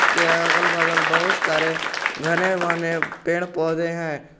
उसके अगल बगल बहुत सारे घने बने पेड़ पौधे हैं।